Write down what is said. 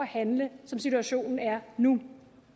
handle som situationen er nu